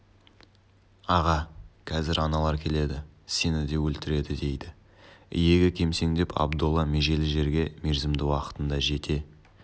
аға қазір аналар келеді сені де өлтіреді дейді иегі кемсеңдеп абдолла межелі жерге мерзімді уақытында жете